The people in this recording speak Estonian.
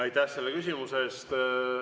Aitäh selle küsimuse eest!